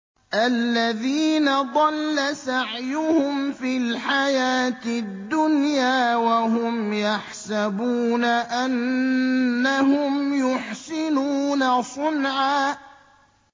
الَّذِينَ ضَلَّ سَعْيُهُمْ فِي الْحَيَاةِ الدُّنْيَا وَهُمْ يَحْسَبُونَ أَنَّهُمْ يُحْسِنُونَ صُنْعًا